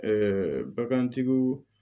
bagantigiw